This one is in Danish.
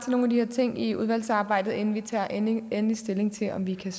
nogle af de her ting i udvalgsarbejdet inden vi tager endelig endelig stilling til om vi kan